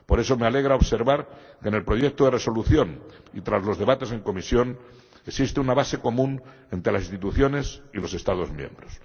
Por eso me alegra observar que en el proyecto de Resolución, y tras los debates en comisión, existe una base común entre la instituciones y los Estados miembros.